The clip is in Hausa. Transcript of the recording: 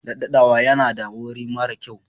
Ɗaddawa yana da wari mara kyau.